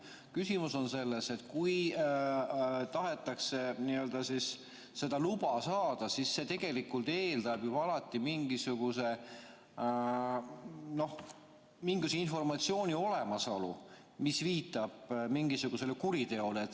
Küsimus on selles, et kui tahetakse seda luba saada, siis see tegelikult eeldab alati mingisuguse informatsiooni olemasolu, mis viitab mingisugusele kuriteole.